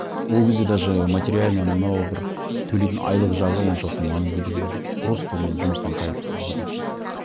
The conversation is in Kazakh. ол кезде даже материальный анау мынау бір төлейтін айлық жағы оншалықты маңызды да болған жоқ просто мен жұмыстан кайф алатын тұғынмын